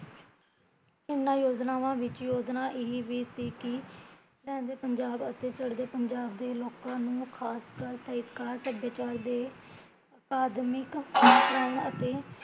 ਇਹਨਾਂ ਯੋਜਨਾਵਾਂ ਵਿੱਚ ਯੋਜਨਾ ਇਹ ਵੀ ਸੀ ਕੀ ਲਹਿਦੇ ਪੰਜਾਬ ਅਤੇ ਚੜਦੇ ਪੰਜਾਬ ਦੇ ਲੋਕਾਂ ਨੂ ਖਾਸ ਕਰ ਸਾਹਿਤਕਾਰ ਸਭਿਆਚਾਰ ਦੇ ਆਦਮਿਕ ਅਤੇ